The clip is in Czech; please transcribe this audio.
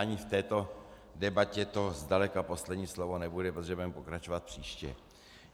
Ani v této debatě to zdaleka poslední slovo nebude, protože budeme pokračovat příště.